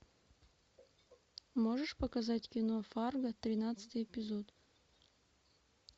можешь показать кино фарго тринадцатый эпизод